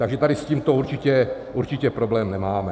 Takže tady s tímto určitě problém nemáme.